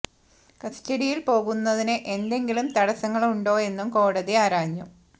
കസ്റ്റഡിയിൽ പോകു ന്നതിന് എന്തെങ്കിലും തടസ്സ ങ്ങള് ഉണ്ടോ എന്നും കോടതി ആരാഞ്ഞു